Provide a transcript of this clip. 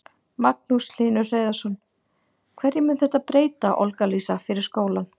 Magnús Hlynur Hreiðarsson: Hverju mun þetta breyta, Olga Lísa, fyrir skólann?